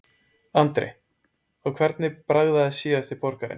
Andri: Og hvernig bragðaðist síðasti borgarinn?